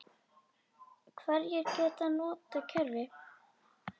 Hverjir geta notað kerfið?